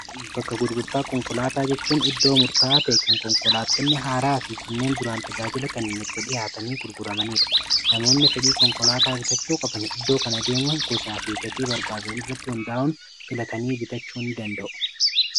bakka gurgurtaa konkolaataa jechuun iddoo murtaa ta'e kan konkolaatonni haaraa fi kanneen duraan tajaajila kenneen itti dhihaatanii gurguramaniidha namoonni fedhii konkolaataa bitachuu qaban iddoo kan adeemu gosaa fi gatii barbaadani irratti hundaa'un filatanii bitachuu in danda'u